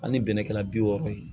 Ani bɛnɛ kɛla bi wɔɔrɔ ye